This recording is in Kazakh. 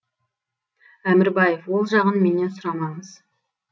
әмірбаев ол жағын менен сұрамаңыз